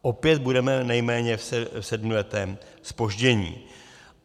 Opět budeme nejméně v sedmiletém zpoždění.